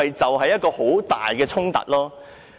這是一個很大的衝突。